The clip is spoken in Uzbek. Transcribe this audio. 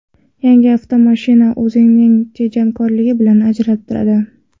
Yangi avtomashina o‘zining tejamkorligi bilan ajralib turadi.